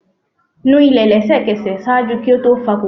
nu ile lẹsẹkẹsẹ! ṣaaju ki o to fa kokoro.